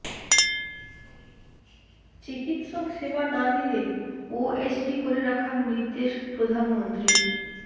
চিকিৎসক সেবা না দিলে ওএসডি করে রাখার নির্দেশ প্রধানমন্ত্রীর